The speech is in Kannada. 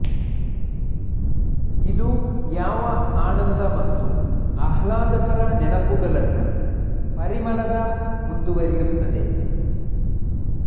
ಇದು ಯುವ ಆನಂದ ಮತ್ತು ಆಹ್ಲಾದಕರ ನೆನಪುಗಳನ್ನು ಪರಿಮಳದ ಮುಂದುವರಿಯುತ್ತದೆ